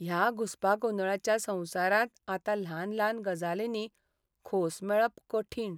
ह्या घुसपागोंदळाच्या संवसारांत आतां ल्हान ल्हान गजालींनी खोस मेळप कठीण.